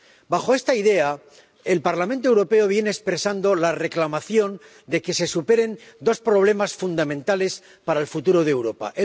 Bajo esta idea, el Parlamento Europeo viene expresando la reclamación de que se superen dos problemas fundamentales para el futuro de Europa.